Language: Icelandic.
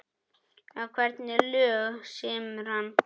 En hvernig lög semur hann?